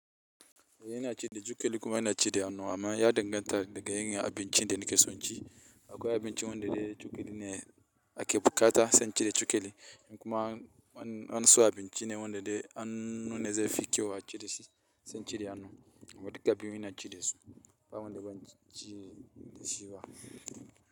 Ina ci da cokali kuma ina ci da hannu amma ya danganta daga yanayin abincin da nikeso in ci. Akwai abinci wanda dai cokali ne a ke buƙata sani cire cokali in kuma an so a bincine wanda dai an nuna zai fi kyau a cire shi sai inci da hannu amma duka biyun inaci dasu ba wanda banci da shi ba.